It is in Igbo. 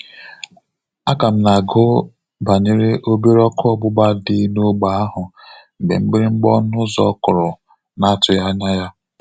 A ka m na-agụ banyere obere ọkụ ọgbụgba dị n'ógbè ahụ mgbe mgbịrịgba ọnu ụzọ kụrụ na atughi anya ya